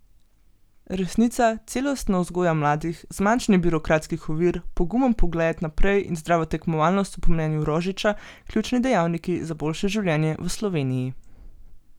Resnica, celostna vzgoja mladih, zmanjšanje birokratskih ovir, pogumen pogled naprej in zdrava tekmovalnost so po mnenju Rožiča ključni dejavniki za boljše življenje v Sloveniji.